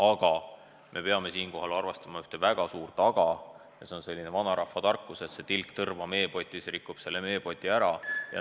Aga me peame siinkohal arvestama üht väga suurt "aga": seda vanarahvatarkust, et tilk tõrva meepotis rikub meepoti ära.